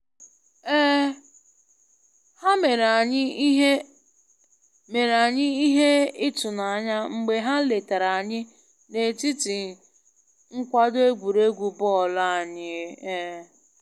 um Ha mere anyị ihe mere anyị ihe ịtụnanya mgbe ha letara anyị n'etiti nkwado egwuregwu bọọlu anyị um